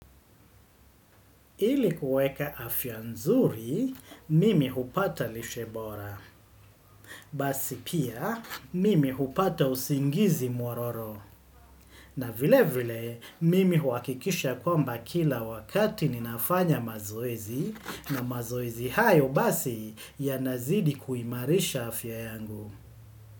Ili kuweka afya nzuri, mimi hupata lishe bora. Basi pia, mimi hupata usingizi mwororo. Na vile vile, mimi huhakikisha kwamba kila wakati ninafanya mazoezi na mazoezi hayo basi yanazidi kuimarisha afya yangu.